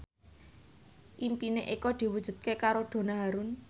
impine Eko diwujudke karo Donna Harun